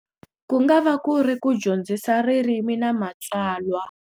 Ku ngava ku ri ku dyondzisa ririmi na matsalwa.